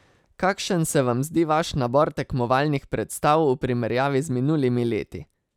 Kakšen se vam zdi vaš nabor tekmovalnih predstav v primerjavi z minulimi leti?